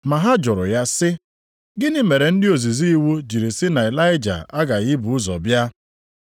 Ma ha jụrụ ya sị, “Gịnị mere ndị ozizi iwu jiri sị na Ịlaịja aghaghị ibu ụzọ bịa?”